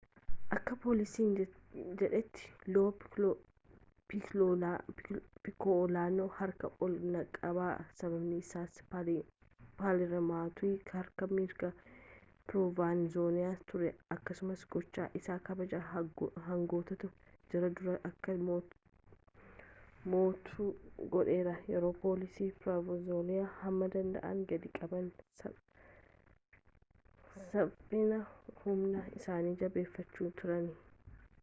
akka poolisiin jedhetti loo pikkooloon harka ol aanaa qaba sababnisaas inni paalermotti harka mirgaa piroovenzaanoos ture akkasumas gochaan isaa kabaja hooggantoota jaarraa durii akka mo'atu godheera yeroo poolisii piroovenzaanoos hamma danda'an gadi qabaa saaaphana humnaa isaanii jabeeffachaa turanitti